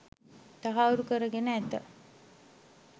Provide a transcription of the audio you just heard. තහවුරු කරගෙන ඇත.